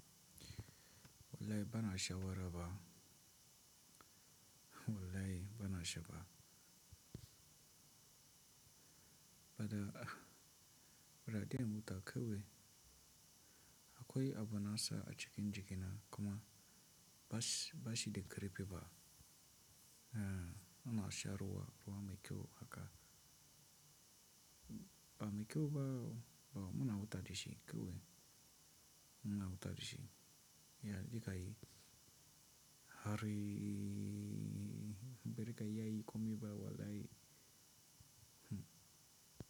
Wallahi bana shawara ba. Wallahi bana sha ba. Bada, bada daren muta kawai. Akwai abu nasa a cikin jikina kuma ba shi, ba shi da karfi ba. Eh, muna sha ruwa, ruwa mai kyau haka. Ba mai kyau ba, muna huta da shi kewai. Muna bauta da shi. Ya, zaka yi. Hariii, bazaka iyayin komi ba wallahi. Hmm.